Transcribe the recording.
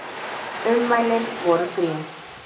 Ummælin voru grín